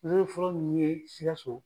fɔlɔ min ye SIKASO.